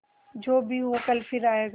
जो भी हो कल फिर आएगा